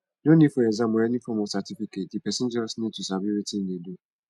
no need for exam or any form of certificate di person just need to sabi wetin im de do